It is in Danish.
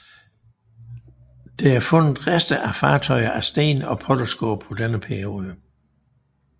Der er fundet rester af fartøjer af sten og potteskår fra denne periode